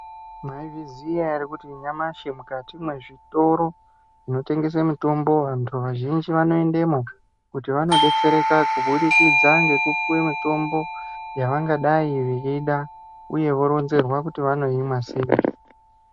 Mwaizviziya ere kuti nyamashi mukati mwezvitoro zvinotengese mitombo vantu vazhinji vanoendemo kuti vanodetsereka kubudikidza ngekupuwe mitombo yavangadai veida uye voronzerwa kuti vanoimwa sei.